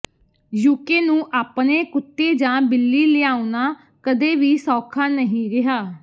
UK ਨੂੰ ਆਪਣੇ ਕੁੱਤੇ ਜਾਂ ਬਿੱਲੀ ਲਿਆਉਣਾ ਕਦੇ ਵੀ ਸੌਖਾ ਨਹੀਂ ਰਿਹਾ